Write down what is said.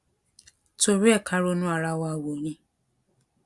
torí ẹ kà ronú ara wa wò ni